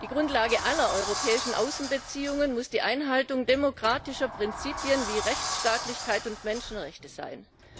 Die Grundlage aller europäischen Außenbeziehungen muss die Einhaltung demokratischer Prinzipien wie Rechtsstaatlichkeit und Menschenrechte sein.